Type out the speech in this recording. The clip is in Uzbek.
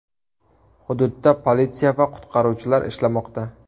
Hududda politsiya va qutqaruvchilar ishlamoqda.